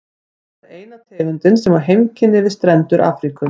Þetta er eina tegundin sem á heimkynni við strendur Afríku.